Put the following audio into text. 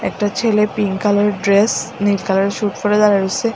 একটা ছেলে pink colour এর ড্রেস নীল কালার এর স্যুট পরে দাঁড়ায় রইসে।